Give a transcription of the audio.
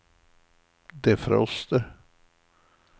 defroster